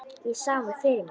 Ég sá mig fyrir mér.